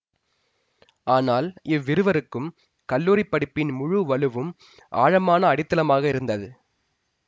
ஆனால் இவ்விருவருக்கும் கல்லூரி படிப்பின் முழு வலுவும் ஆழமான அடித்தளமாக இருந்தது